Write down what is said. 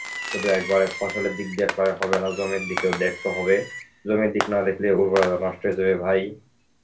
শুধু একবার এক ফসলের দিক দিয়ে দেখলে হবে না জমির দিকেও দেখতে হবে. জমির দিক না দেখলে উর্বরতা নষ্ট হয়ে যাবে ভাই.